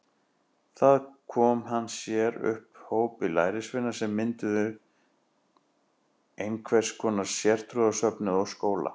Þar kom hann sér upp hópi lærisveina sem mynduðu einhvers konar sértrúarsöfnuð og skóla.